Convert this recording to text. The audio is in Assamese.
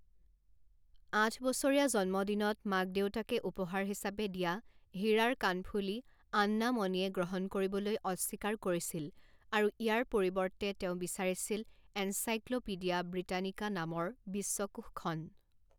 আঠবছৰীয়া জন্মদিনত মাক দেউতাকে উপহাৰ হিচাপে দিয়া হীৰাৰ কাণফুলি আন্না মণিয়ে গ্ৰহণ কৰিবলৈ অস্বীকাৰ কৰিছিল আৰু ইয়াৰ পৰিৱৰ্তে তেওঁ বিছাৰিছিল এনছাইক্ল পিডিয়া ব্ৰিটানিকা নামৰ বিশ্বকোষখন।